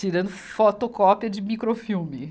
Tirando fotocópia de microfilme.